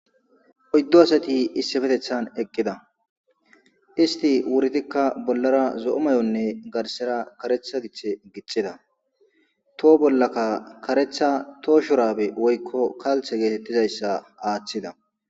Oyddo asati issefetethan eqqida isti wurtikka bollara zo'o may'onne garsera karetha githe gixida too bollaka karetha too shurabe woykko kalthe geetettizayssa aaththida.